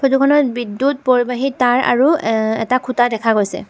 ফটোখনত বিদ্যুৎ পৰিবাহী তাঁৰ আৰু এ এটা খুঁটা দেখা গৈছে।